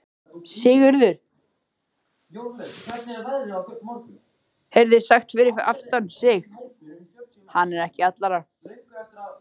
Sigurður heyrði sagt fyrir aftan sig:-Hann er ekki allra.